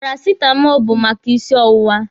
Parasitamọlụ bụ maka isi ọwụwa.